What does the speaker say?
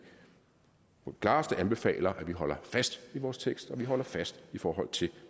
på det klareste anbefaler at vi holder fast i vores tekst og at vi holder fast i forhold til